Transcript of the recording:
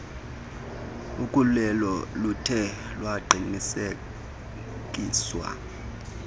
ukhulelo luthe lwaqinisekiswa